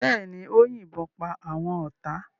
Bẹ́ẹ̀ ni, ó yìnbọn pa àwọn ọ̀tá.